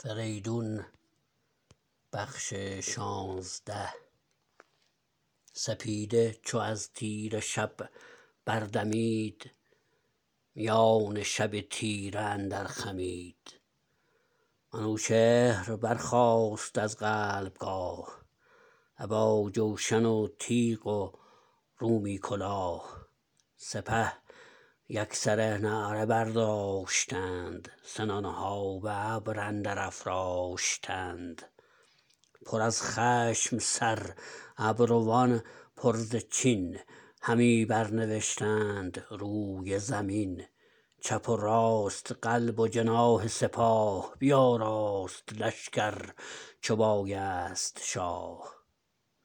سپیده چو از تیره شب بردمید میان شب تیره اندر خمید منوچهر برخاست از قلب گاه ابا جوشن و تیغ و رومی کلاه سپه یکسره نعره برداشتند سنان ها به ابر اندر افراشتند پر از خشم سر ابروان پر ز چین همی بر نوشتند روی زمین چپ و راست و قلب و جناح سپاه بیاراست لشکر چو بایست شاه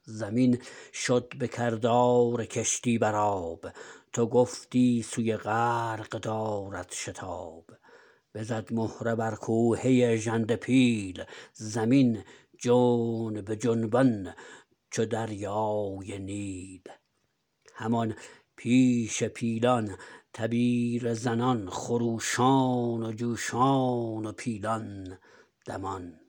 زمین شد به کردار کشتی بر آب تو گفتی سوی غرق دارد شتاب بزد مهره بر کوهه ژنده پیل زمین جنب جنبان چو دریای نیل همان پیش پیلان تبیره زنان خروشان و جوشان و پیلان دمان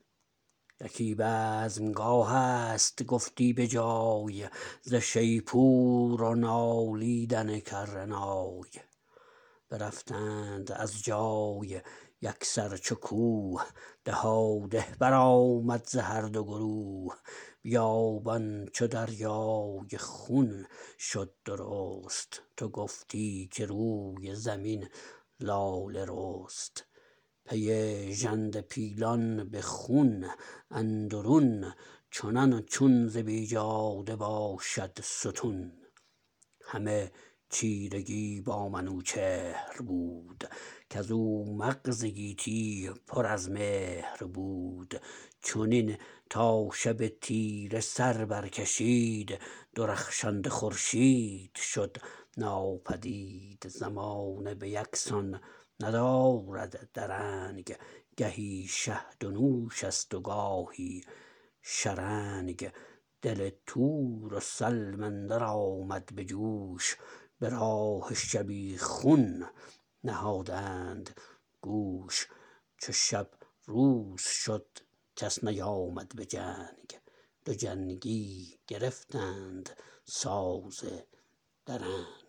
یکی بزمگاه ست گفتی به جای ز شیپور و نالیدن کره نای برفتند از جای یکسر چو کوه دهاده برآمد ز هر دو گروه بیابان چو دریای خون شد درست تو گفتی که روی زمین لاله رست پی ژنده پیلان به خون اندرون چنان چون ز بیجاده باشد ستون همه چیرگی با منوچهر بود کزو مغز گیتی پر از مهر بود چنین تا شب تیره سر بر کشید درخشنده خورشید شد ناپدید زمانه به یک سان ندارد درنگ گهی شهد و نوش است و گاهی شرنگ دل تور و سلم اندر آمد به جوش به راه شبیخون نهادند گوش چو شب روز شد کس نیامد به جنگ دو جنگی گرفتند ساز درنگ